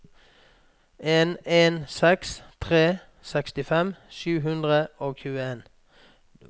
en en seks tre sekstifem sju hundre og tjueen